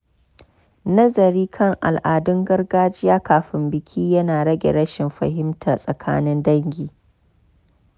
Nazari kan al’adun gargajiya kafin biki ya na rage rashin fahimta tsakanin dangi.